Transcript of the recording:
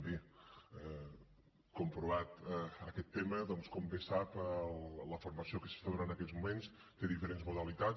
bé comprovat aquest tema doncs com bé sap la formació que s’està donant en aquests moments té diferents modalitats